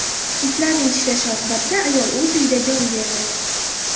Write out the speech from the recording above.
Itlarning tishlashi oqibatida ayol o‘z uyida jon berdi.